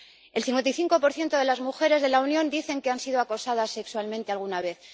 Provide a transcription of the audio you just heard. El 55 de las mujeres de la Unión dicen que han sido acosadas sexualmente alguna vez.